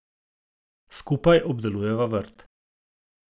Skupaj obdelujeva vrt.